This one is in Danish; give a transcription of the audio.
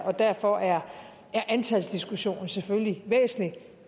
og derfor er antalsdiskussionen selvfølgelig væsentlig